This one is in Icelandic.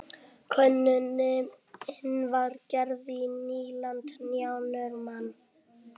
Könnunin var gerð í nýliðnum janúarmánuði